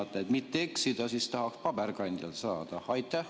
Aga et mitte eksida, siis tahaks paberkandjal väljatrükki saada.